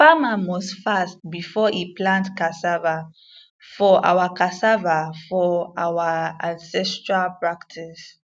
farmer must fast before e plant cassava for our cassava for our ancestral practice